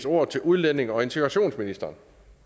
ordet til udlændinge og integrationsministeren